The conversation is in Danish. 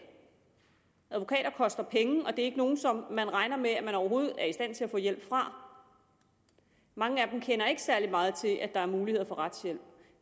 advokater koster penge og det er ikke nogle som man regner med at man overhovedet er i stand til at få hjælp fra mange af dem kender ikke særlig meget til at der er muligheder for retshjælp